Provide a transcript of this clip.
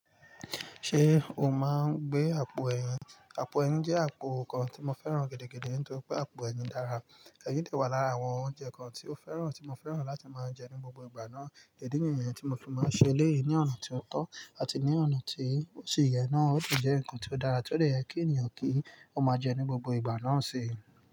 Ṣé o máa ń gbé àpò ẹyin? Àpò ẹyin jẹ́ àpò kan tí mo fẹ́ràn gidi, nítorí pé àpò ẹyin dára. Eyin de wa lara awon ounje kan ti o feran ti mo feran lati maa je ni gbogbo igba naa, idi niyen ti mo fi maa n se eleyii ni ona ti o to ati ni ona to si ye na. Ó si jẹ́ ǹkan tí ó dára tí ó dè yẹ kí ènìyàn kí ó máa jẹ ní gbogbo ìgbà náà sí.